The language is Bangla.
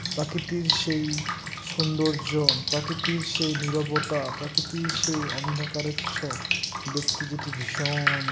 প্রাকৃতির সেই সৌন্দর্য প্রাকৃতির সেই নীরবতা প্রাকৃতির সেই অন্ধকারচ্ছ দেখতে যেটি ভীষণ-ন --